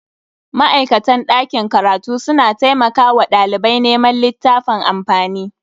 Ma'aikatan dakin karatu suna taimakawa dalibai neman littafan amfani.